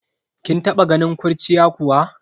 Kin taba ganin kurciya kuwa?